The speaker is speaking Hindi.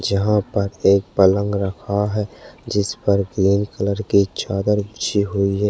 जहाँ पर एक पलंग रखा है जिस पर प्लेन कलर के चादर बिछे हुए है।